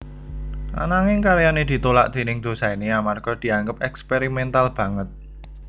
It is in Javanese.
Ananging karyané ditolak déning dosené amarga dianggep eksperimental banget